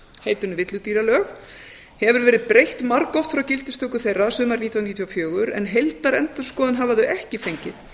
heitinu villidýralög hefur verið breytt margoft frá gildistöku þeirra sumarið nítján hundruð níutíu og fjögur en heildarendurskoðun hafa þau ekki fengið